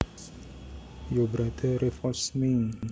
Your brother revolts me